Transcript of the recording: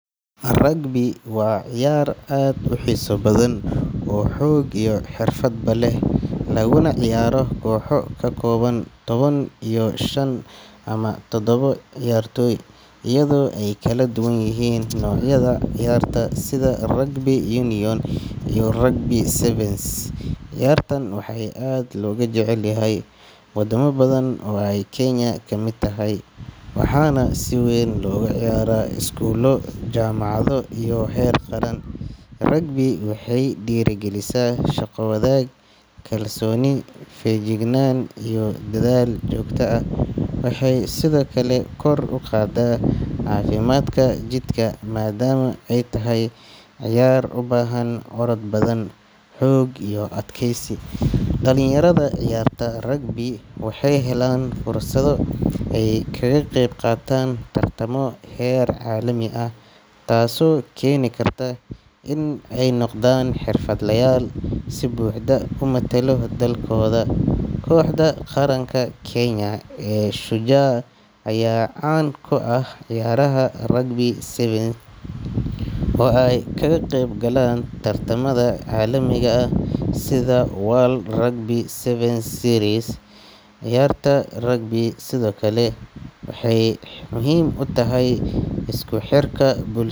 Rugby waa ciyaar aad u xiiso badan oo xoog iyo xirfadba leh, laguna ciyaaro kooxo ka kooban toban iyo shan ama toddoba ciyaartoy, iyadoo ay kala duwan yihiin noocyada ciyaarta sida rugby union iyo rugby sevens. Ciyaartan waxaa aad looga jecel yahay wadamo badan oo ay Kenya ka mid tahay, waxaana si weyn loogu ciyaaraa iskuulo, jaamacado iyo heer qaran. Rugby waxay dhiirrigelisaa shaqo-wadaag, kalsooni, feejignaan iyo dadaal joogto ah. Waxay sidoo kale kor u qaadaa caafimaadka jidhka, maadaama ay tahay ciyaar u baahan orod badan, xoog iyo adkaysi. Dhalinyarada ciyaarta rugby waxay helaan fursado ay kaga qayb qaataan tartamo heer caalami ah, taasoo keeni karta in ay noqdaan xirfadlayaal si buuxda u matala dalkooda. Kooxda qaranka Kenya ee Shujaa ayaa caan ku ah ciyaaraha rugby sevens oo ay kaga qayb galaan tartamada caalamiga ah sida World Rugby Sevens Series. Ciyaarta rugby sidoo kale waxay muhiim u tahay isku xirka buls.